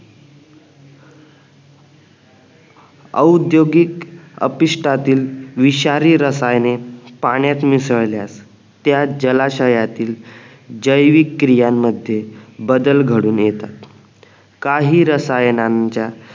औद्योगिक अपिष्टातील विषारी रसायने पाण्यात मिसळल्यास त्या जलाशयातील जैविक क्रियानमध्ये बदल घडून येतात काही रसायनांच्या